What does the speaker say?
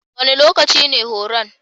Wane lokaci ne horon?